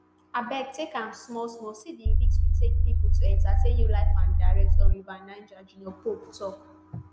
abeg take am small small see di risk we take pipo to entertain you live and direct on river niger junior pope tok